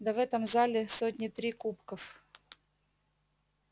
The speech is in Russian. да в этом зале сотни три кубков